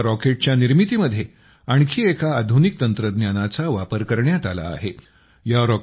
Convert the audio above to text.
या रॉकेटच्या निर्मितीमध्ये आणखी एका आधुनिक तंत्रज्ञानाचा वापर करण्यात आला आहे